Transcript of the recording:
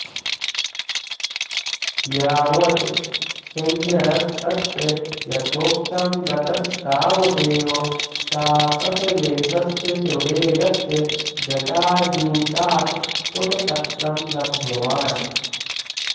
यावत् सिंहणस्तत्र यथोक्तं गतस्तावदेव तापसवेषस्य सुवेगस्य जटाजूटात् कुटपत्रं लब्धवान्